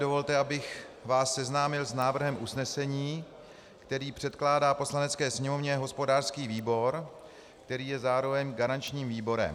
Dovolte, abych vás seznámil s návrhem usnesení, který předkládá Poslanecké sněmovně hospodářský výbor, který je zároveň garančním výborem.